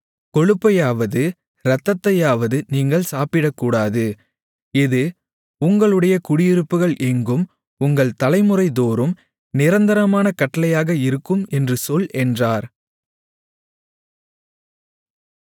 கொழுப்பையாவது இரத்தத்தையாவது நீங்கள் சாப்பிடக்கூடாது இது உங்களுடைய குடியிருப்புகள் எங்கும் உங்கள் தலைமுறைதோறும் நிரந்தரமான கட்டளையாக இருக்கும் என்று சொல் என்றார்